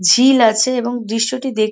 ঝিল আছে এবং দৃশ্যটি দেখ--